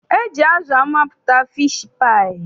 E ji azụ amapụta fiishi paayị.